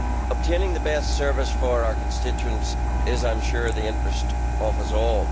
Obtaining the best service for our constituents is, I am sure, in the interests of us all.